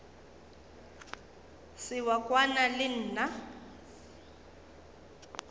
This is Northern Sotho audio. se wa kwana le nna